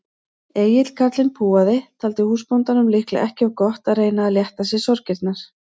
Egill karlinn púaði, taldi húsbóndanum líklega ekki of gott að reyna að létta sér sorgirnar.